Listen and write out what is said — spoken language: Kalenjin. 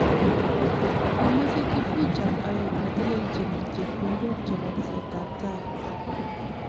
Komochei Kifuja oek netellechin chepkondok chebo tesetabtai